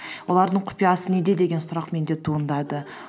олардың құпиясы неде деген сұрақ менде туындады